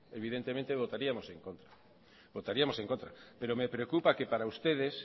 evidentemente votaríamos a en contra votaríamos en contra pero me preocupa que para ustedes